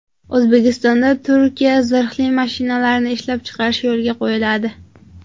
O‘zbekistonda Turkiya zirhli mashinalarini ishlab chiqarish yo‘lga qo‘yiladi.